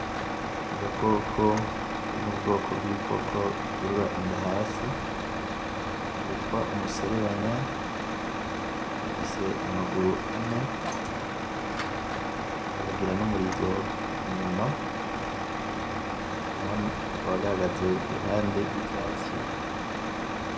Agakoko kari mubwoko bw'ibikoko bikurura inda hasi kitwa umuserebanya gafise amaguru ane kakagira n'umurizo inyuma kakaba gahagaze iruhande y'ivyatsi.